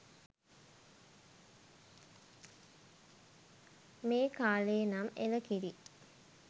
මේ කාලේ නම් එලකිරි